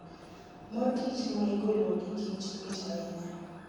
Mor kich maigolo gikich mit ahinya